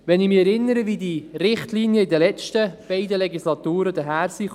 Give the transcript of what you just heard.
Ich erinnere mich daran, wie diese Richtlinien in den letzten beiden Legislaturen aussahen.